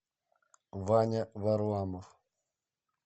ваня варламов